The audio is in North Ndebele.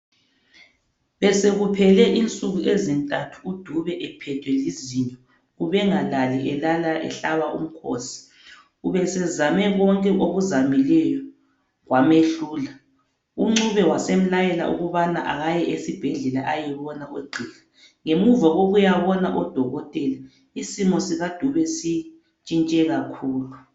Besekuphele insuku ezintathu uDube ephethwe lizinyo. Ubengalali elala ehlaba umkhosi ubesezame konke akuzamileyo kwemehlula. UNcube wasemlayela ukubana akaye esibhedlela ayebona ogqiha. Ngemuva kokuyabona oDokotela isimo sikaDube sitshintshe kakhulu.